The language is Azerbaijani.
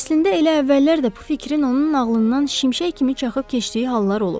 Əslində elə əvvəllər də bu fikrin onun ağlından şimşək kimi çaxıb keçdiyi hallar olub.